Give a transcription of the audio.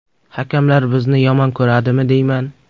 Hakamlar bizni yomon ko‘radimi deyman.